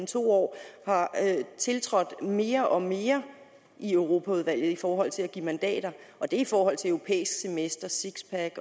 to år har tiltrådt mere og mere i europaudvalget i forhold til at give mandater og det er i forhold til det europæiske semester sixpack